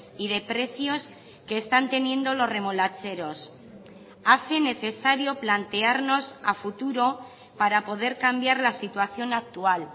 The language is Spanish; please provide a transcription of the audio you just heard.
y de precios que están teniendo los remolacheros hace necesario plantearnos a futuro para poder cambiar la situación actual